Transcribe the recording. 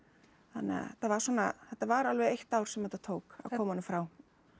þannig að þetta var svona þetta var alveg eitt ár sem þetta tók að koma honum frá